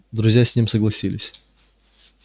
друзья с ним согласились